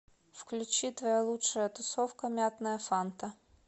включи твоя лучшая тусовка мятная фанта